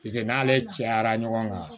pase n'ale cayara ɲɔgɔn kan